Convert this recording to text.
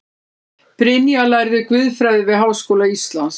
Brynja lærði guðfræði við Háskóla Íslands